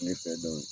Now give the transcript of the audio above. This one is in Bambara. Tile fɛ